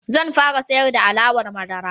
Zan fara siyar da alawar madara.